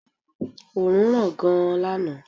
Oòrùn ran gan lànà